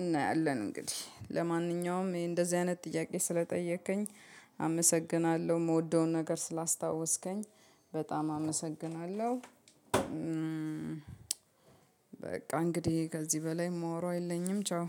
እናያለን እንግዲህ ለማንኛውም እንደዚህ አይነት ጥያቄ ስለጠየከኝ አመሰግናለሁ የምወደውን ነገር ስላስታወስከኝ በጣም አመሰግናለሁ። በቃ እንግዲህ ከዚህ በላይ ማወራው የለኝም። ቻው